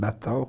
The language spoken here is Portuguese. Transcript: Natal.